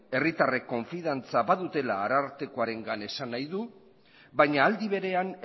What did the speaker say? herritarrek konfidantza badutela arartekoarengan esan nahi du baina aldi berean